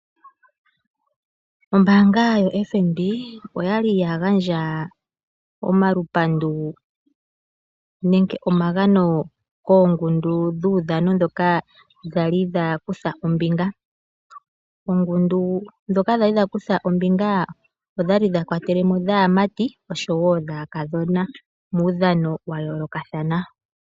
Ombaanga yoFNB oya li ya gandja omalupandu nomagano, koongundu dhuudhano ndhoka dha li dha kutha ombinga muudhano wayoolokathana. Opwa li oongundu dhaamati nodhaakadhona.